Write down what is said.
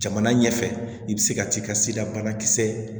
Jamana ɲɛfɛ i bɛ se ka t'i ka sidabanakisɛ